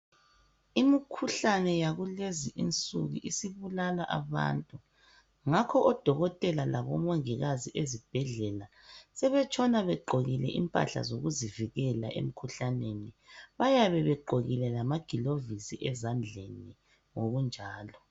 Imikhuhlane yakulezinsuku isibulala abantu ngakho odokotela labomongikazi ezibhendlela sebetshona begqokile impahla zokuzivikela emkhuhlaneni bayabe begqokile lamagilovisi ezandleni njalo.